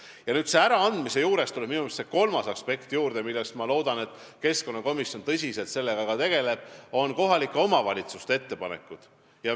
Pakendite äraandmise juures tuleb minu meelest juurde see kolmas aspekt , need on kohalike omavalitsuste ettepanekud.